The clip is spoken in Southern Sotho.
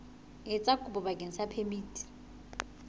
etsa kopo bakeng sa phemiti